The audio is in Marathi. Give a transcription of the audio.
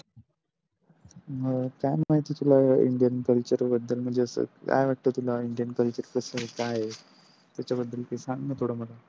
मग काय माहिती तुला indian Culture बद्दल म्हणजे अस काय वाट्त तुला indian Culture कस काय आहे त्याच्या बद्द्द्ल सांग थोड मला.